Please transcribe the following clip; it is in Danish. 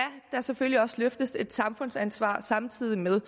der selvfølgelig også løftes et samfundsansvar samtidig med